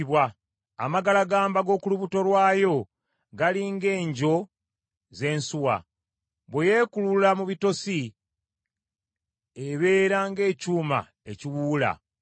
Amagalagamba g’oku lubuto lwayo gali ng’engyo z’ensuwa. Bwe yeekulula mu bitosi ebeera ng’ekyuma ekiwuula.